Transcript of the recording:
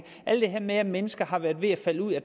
alt det her med at mennesker har været ved at falde ud af